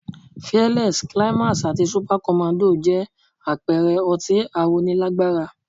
Fearless, climax àti Supacommando jẹ́ àpẹẹrẹ ọtí aróni lágbára